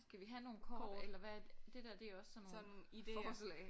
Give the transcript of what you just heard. Skal vi have nogle kort eller hvad? Det der det er også sådan forslag